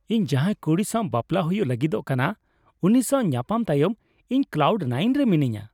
ᱤᱧᱟᱹᱜ ᱡᱟᱦᱟᱸᱭ ᱠᱩᱲᱤ ᱥᱟᱣ ᱵᱟᱯᱞᱟ ᱦᱩᱭᱩᱜ ᱞᱟᱹᱜᱤᱫᱚᱜ ᱠᱟᱱᱟ, ᱩᱱᱤ ᱥᱟᱶ ᱧᱟᱯᱟᱢ ᱛᱟᱭᱚᱢ ᱤᱧ ᱠᱞᱟᱣᱩᱰ ᱱᱟᱭᱤᱱ ᱨᱮ ᱢᱤᱱᱟᱹᱧᱟ ᱾